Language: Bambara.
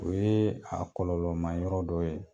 O yee a kɔlɔlɔma yɔrɔ dɔ ye.